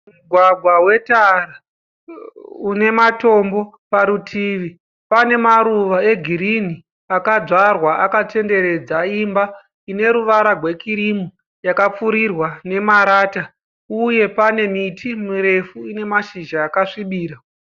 Mugwagwa wetara une matombo parutivi. Pane maruva egirinhi akadzvarwa akatenderedza imba ine ruvara rwekirimu yakapfurirwa nemarata uye pane miti mirefu ine mashizha akasvibira.